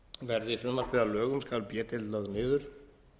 verði frumvarpið að lögum skal b deild lögð niður